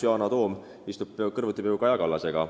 Yana Toom istub peaaegu kõrvuti Kaja Kallasega.